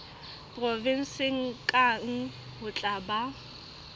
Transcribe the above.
provenseng kang ho tla ba